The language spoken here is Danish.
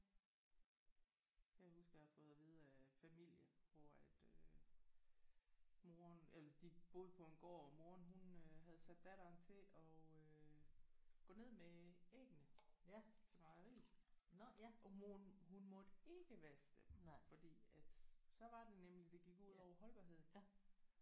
Kan jeg huske jeg har fået af vide af familie hvor at øh moderen eller de boede på en gård. Moderen hun havde sat datteren til at øh gå ned med æggene til mejeriet og hun måtte ikke vaske dem fordi at så var det nemlig det gik ud over holdbarheden